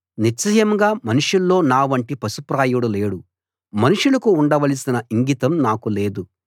నిశ్చయంగా మనుషుల్లో నావంటి పశుప్రాయుడు లేడు మనుషులకు ఉండవలసిన ఇంగితం నాకు లేదు